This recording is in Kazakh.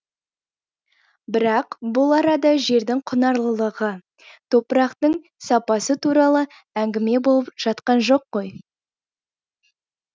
бірақ бұл арада жердің құнарлылығы топырақтың сапасы туралы әңгіме болып жатқан жоқ қой